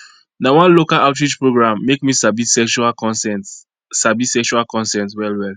na one local outreach program make me sabi sexual consent sabi sexual consent well well